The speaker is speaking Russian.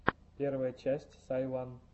первая часть сайван